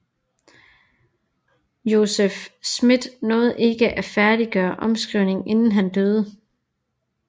Joseph Smith nåede ikke at færdiggøre omskrivningen inden han døde